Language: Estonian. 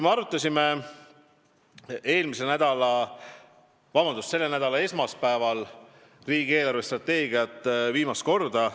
Me arutasime selle nädala esmaspäeval riigi eelarvestrateegiat viimast korda.